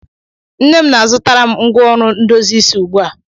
nne m na-azụtara m ngwá ọrụ ndozi isi ugbu a